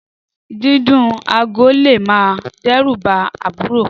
Dìdún àgò làlẹ́ mà dẹ rù bà àbùró